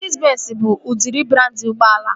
Mesedis benzi bụ udịri brandị ụgbọala